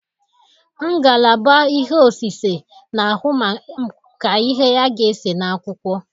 Ngalaba ihe osise n'ahụ maka ihe a ga-ese n'akwụkwọ